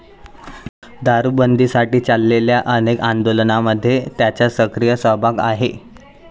दारूबंदीसाठी चाललेल्या अनेक आंदोलनांमध्ये त्यांचा सक्रीय सहभाग आहे.